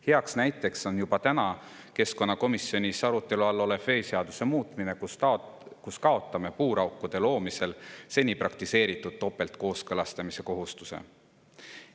Hea näide on juba täna keskkonnakomisjonis arutelu all olev veeseaduse muutmine – me kaotame puuraukude loomisel seni praktiseeritud topeltkooskõlastuse kohustuse.